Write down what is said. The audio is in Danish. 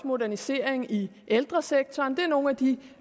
modernisering i ældresektoren det er nogle af de